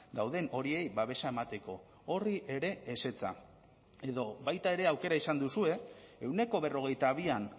dauden horiei babesa emateko horri ere ezetza edo baita ere aukera izan duzue ehuneko berrogeita bian